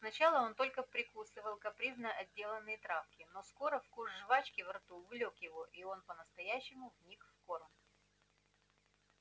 сначала он только прикусывал капризно отделанные травки но скоро вкус жвачки во рту увлёк его и он по-настоящему вник в корм